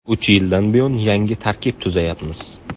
Uch yildan buyon yangi tarkib tuzayapmiz.